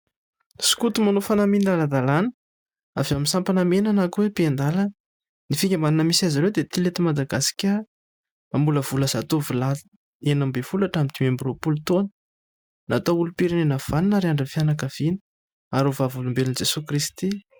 Skoto manao fanamiana ara-dalàna avy amin'ny sampana mena na koa hoe mpiandalana. Ny fikambanana misy azy ireo dia tily eto Madagasikara. Mamolavola zatovolahy enina amby folo hatramin'ny dimy amby roapolo taona, natao olom-pirenena vanona ary andrin'ny fianankaviana ary ho vavolombelon'i Jesoa Krity.